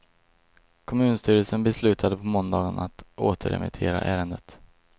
Kommunstyrelsen beslutade på måndagen att återremittera ärendet.